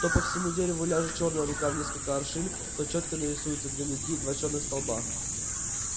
то по всему дереву ляжет чёрная рука в несколько аршин то чётко нарисуются две ноги два чёрных столба